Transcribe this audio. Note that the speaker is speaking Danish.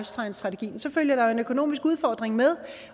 science strategien så følger der en økonomisk udfordring med